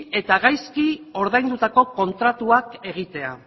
eta gaizki ordaindutako kontratuak egitea